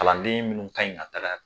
Kalanden minnu ka ɲi ka taga